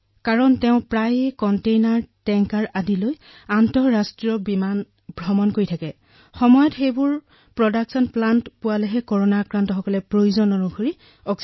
ইমানবোৰ আন্তৰ্জাতিক ফ্লাইট আৰু কণ্টেইনাৰ তথা টেংকাৰবোৰ উৎপাদন প্ৰকল্পলৈ লৈ যোৱা হৈছে যাতে কৰোনাত পীড়িত লোকসকলে সময়মতে অক্সিজেন লাভ কৰে